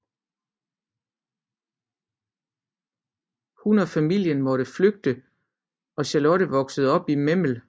Hun og familien måtte flygte og Charlotte voksede op i Memel